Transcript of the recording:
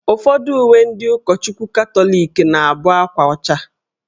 Ufọdụ uwe ndị ụkọchukwu katọlịk na abụ akwa ọcha